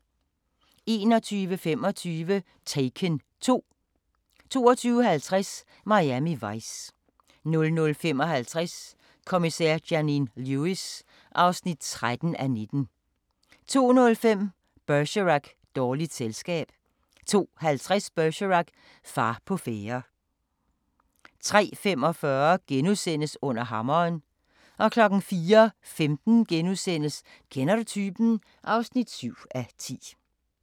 21:25: Taken 2 22:50: Miami Vice 00:55: Kommissær Janine Lewis (13:19) 02:05: Bergerac: Dårligt selskab 02:50: Bergerac: Far på færde 03:45: Under hammeren * 04:15: Kender du typen? (7:10)*